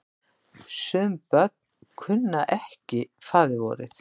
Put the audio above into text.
Sum börn kunnu ekki faðirvorið.